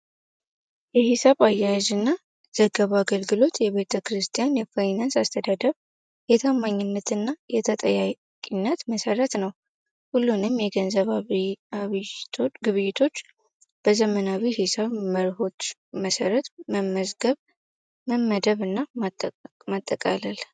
የሂሳብ አያዥ እና ዘገባ አገልግሎት የቤጠ ክርስቲያን የፋይናንስ አስተዳደብ የታማኝነት እና የተጠያቂነት መሰረት ነው። ሁሉንም የገንዘባ ግብይቶች በዘመናዊ ሕሳብ መርሆች መሰረት መመገብ ፤መመደብ እና ማጠቃላል።